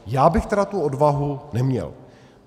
Já bych tedy tu odvahu neměl.